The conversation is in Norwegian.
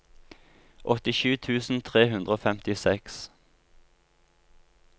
åttisju tusen tre hundre og femtiseks